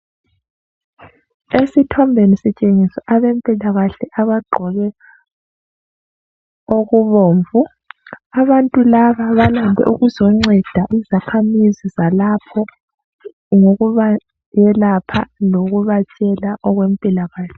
Esithombeni sitshengisa abempila kahle abaqgoke okubomvu abantu laba balakho ukuzonceda izakhamizi zalapho ngokubayelapha lokubatshela okwempila kahle